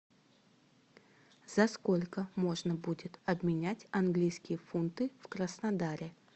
за сколько можно будет обменять английские фунты в краснодаре